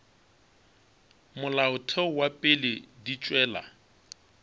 molaotheo wa pele di tšwela